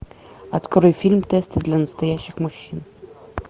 открой фильм тесты для настоящих мужчин